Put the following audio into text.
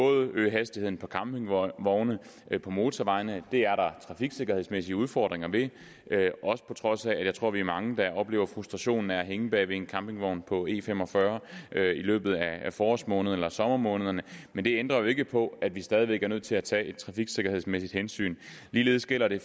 at øge hastigheden for campingvogne på motorvejene det er der trafiksikkerhedsmæssige udfordringer ved på trods af at jeg tror vi er mange der oplever frustrationen ved at hænge bag ved en campingvogn på e fem og fyrre i løbet af forårsmånederne eller sommermånederne men det ændrer jo ikke på at vi stadig væk er nødt til at tage et trafiksikkerhedsmæssigt hensyn ligeledes gælder det